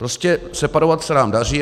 Prostě separovat se nám daří.